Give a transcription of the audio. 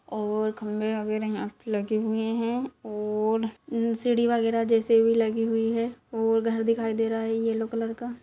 ओर खंभे वगैरह भी यहाँ पे लगे हुए हैं ओर सीडी वगैरह जैसे भी लगी हुई है ओर घर दिखाई दे रहा है येलो कलर का।